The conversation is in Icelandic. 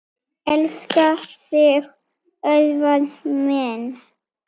Elska þig, Örvar minn.